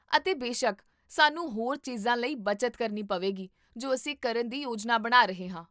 ਅਤੇ ਬੇਸ਼ੱਕ, ਸਾਨੂੰ ਹੋਰ ਚੀਜ਼ਾਂ ਲਈ ਬਚਤ ਕਰਨੀ ਪਵੇਗੀ ਜੋ ਅਸੀਂ ਕਰਨ ਦੀ ਯੋਜਨਾ ਬਣਾ ਰਹੇ ਹਾਂ